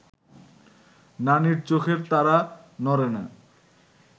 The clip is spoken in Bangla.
নানির চোখের তারা নড়ে না